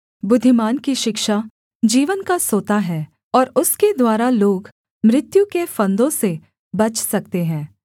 बुद्धिमान की शिक्षा जीवन का सोता है और उसके द्वारा लोग मृत्यु के फंदों से बच सकते हैं